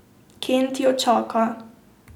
Kent jo čaka.